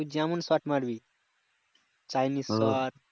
তু যেমন shot মারবি chineseshort